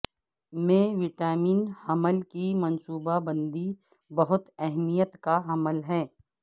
میں وٹامن حمل کی منصوبہ بندی بہت اہمیت کا حامل ہے